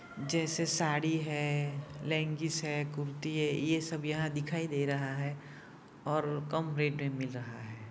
जैसे साड़ी है लेगिस है कुर्ती है ये सब यहां दिखाई दे रहा हैऔर कम रेट मे मिल रहा है।